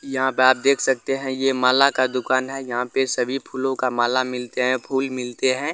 यहा पे आप देख सकते है ये माला का दुकान है यहाँ पे सभी फूलों का माला मिलते है फूल मिलते है।